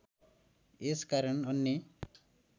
यस कारण अन्य